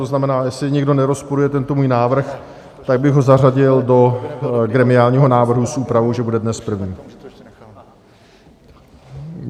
To znamená, jestli nikdo nerozporuje tento můj návrh, tak bych ho zařadil do gremiálního návrhu s úpravou, že bude dnes první.